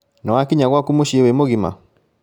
Nĩwakinya gwaku mũciĩ wĩ mũgima?